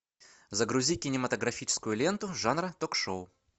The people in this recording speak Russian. загрузи кинематографическую ленту жанра ток шоу